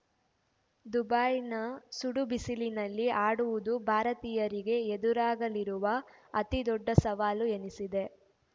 ದುಬೈನ ಸುಡು ಬಿಸಿಲಿನಲ್ಲಿ ಆಡುವುದು ಭಾರತೀಯರಿಗೆ ಎದುರಾಗಲಿರುವ ಅತಿದೊಡ್ಡ ಸವಾಲು ಎನಿಸಿದೆ